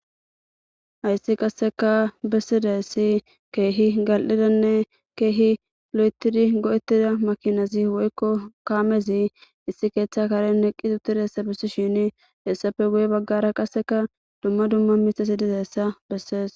Hayssi qasseka bessidayssi keehi gal'idanne keehi lo'etidi go'ettida makinazi woykko kaamezi issi keeththa karen neqqi uttida hessa bissi shini hessape guye baggara qasseka dumma dumma mithasi dizessa bessees.